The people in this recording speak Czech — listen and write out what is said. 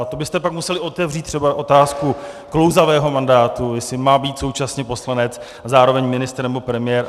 A to byste pak museli otevřít třeba otázku klouzavého mandátu - jestli má být současně poslanec a zároveň ministr nebo premiér.